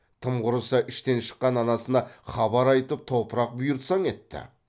тым құрыса іштен шыққан анасына хабар айтып топырақ бұйыртсаң етті